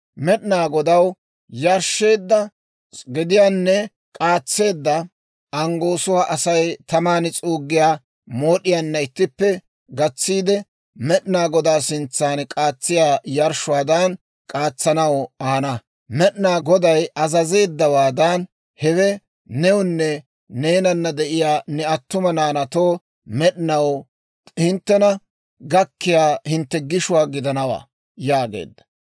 Med'inaa Godaw yarshsheedda gediyaanne k'aatseedda anggoosuwaa Asay taman s'uuggiyaa mood'iyaanna ittippe gatsiide, Med'inaa Godaa sintsan k'aatsiyaa yarshshuwaadan k'aatsanaw ahana. Med'inaa Goday azazeeddawaadan, hewe newunne neenana de'iyaa ne attuma naanaatoo med'inaw hinttena gakkiyaa hintte gishuwaa gidanawaa» yaageedda.